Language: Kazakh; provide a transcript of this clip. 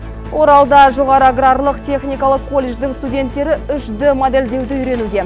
оралда жоғары аграрлық техникалық колледждің студенттері үш д модельдеуді үйренуде